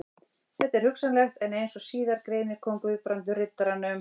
Þetta er hugsanlegt, en eins og síðar greinir kom Guðbrandur Riddaranum